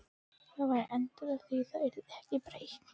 Það væri endanlegt, því yrði ekki breytt.